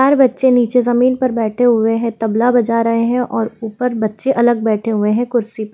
चार बच्चे नीचे जमीन पर बैठे हुए हैं तबला बजा रहे हैं और ऊपर बच्चे अलग बैठे हुए हैं कुर्सी पर।